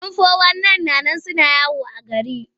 Yan fo-wan-nayin suna yawo a gari.